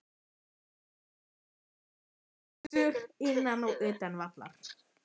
Hver skyldi hafa verði skemmtilegastur innan og utan vallar?